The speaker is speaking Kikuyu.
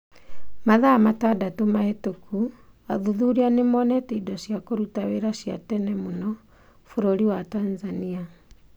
Mathaa matandatũ mahĩtũku athuthuria nĩ monete indo cia kũruta wĩra cia tene mũno bũrũri wa Tanzania.